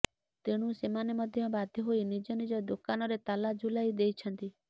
ତେଣୁ ସେମାନେ ମଧ୍ୟ ବାଧ୍ୟ ହୋଇ ନିଜ ନିଜ ଦୋକାନରେ ତାଲା ଝୁଲାଇ ଦେଇଛନ୍ତି